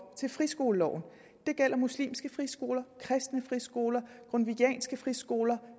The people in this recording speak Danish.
til friskoleloven det gælder muslimske friskoler kristne friskoler grundtvigianske friskoler